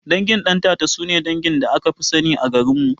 Dangin Ɗantata sune dangin da akafi sani a garinmu